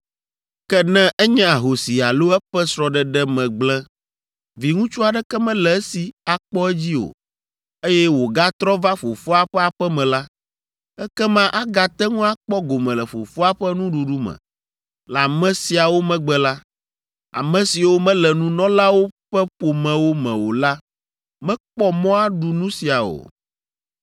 Ke ne enye ahosi alo eƒe srɔ̃ɖeɖe me gblẽ, viŋutsu aɖeke mele esi akpɔ edzi o, eye wògatrɔ va fofoa ƒe aƒe me la, ekema agate ŋu akpɔ gome le fofoa ƒe nuɖuɖu me. Le ame siawo megbe la, ame siwo mele nunɔlawo ƒe ƒomewo me o la mekpɔ mɔ aɖu nu sia o.